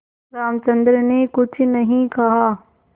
रामचंद्र ने कुछ नहीं कहा